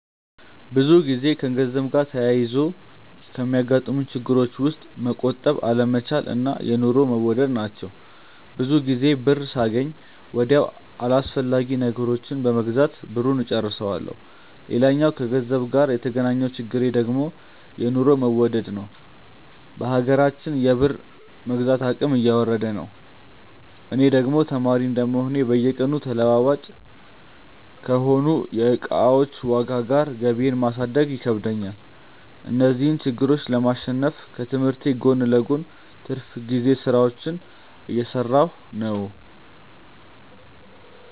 ብዙ ጊዜ ከገንዘብ ጋር ተያይዞ ከሚያጋጥሙኝ ችግሮች ውስጥ መቆጠብ አለመቻል እና የኑሮ መወደድ ናቸው። ብዙ ጊዜ ብር ሳገኝ ወዲያው አላስፈላጊ ነገሮችን በመግዛት ብሩን እጨርሰዋለሁ። ሌላኛው ከገንዘብ ጋር የተገናኘው ችግሬ ደግሞ የኑሮ መወደድ ነዉ። በሀገራችን የብር የመግዛት አቅም እየወረደ ነው። እኔ ደግሞ ተማሪ እንደመሆኔ በየቀኑ ተለዋዋጭ ከሆነው የእቃዎች ዋጋ ጋር ገቢየን ማሳደግ ይከብደኛል። እነዚህን ችግሮች ለማሸነፍ ከትምህርቴ ጎን ለጎን የትርፍ ጊዜ ስራዎችን እየሰራሁ ነው።